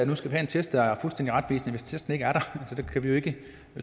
nu skal have en test der er fuldstændig retvisende hvis testen ikke er der kan vi jo ikke